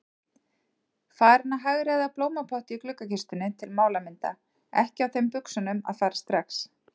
Farin að hagræða blómapotti í gluggakistunni til málamynda, ekki á þeim buxunum að fara strax.